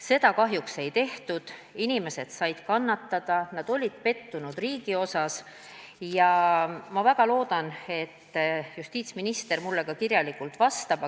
Seda kahjuks ei tehtud, inimesed said kannatada, nad olid riigis pettunud ja ma väga loodan, et justiitsminister mulle ka kirjalikult vastab.